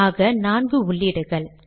ஆக நான்கு உள்ளீடுகள்